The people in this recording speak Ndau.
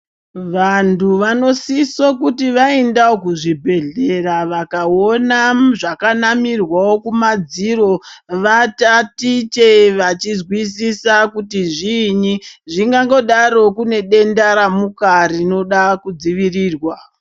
Vantu vanosiso kuti vaendawo kuzvibhedhlera vakaona zvakanamirwawo kumadziro vatatiche vachizwisisa kuti zviini zvingangodaro kune denda ramuka rinoda kudzivirirwa.